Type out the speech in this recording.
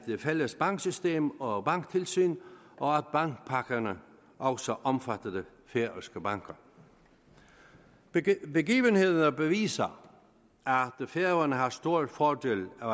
et fælles banksystem og banktilsyn og at bankpakkerne også omfattede færøske banker begivenhederne beviser at færøerne har stor fordel af